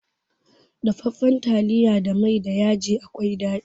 Dafaffan taliya da mai da yaji akwai daɗi.